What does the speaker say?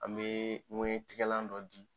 An bee ŋɛɲɛ tigalan dɔ di